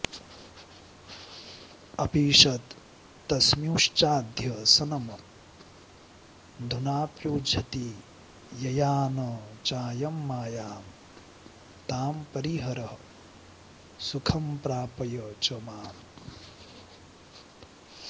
अपीषत्तस्मिंश्चाध्यसनमधुनाप्युज्झति यया न चायं मायां तां परिहर सुखं प्रापय च माम्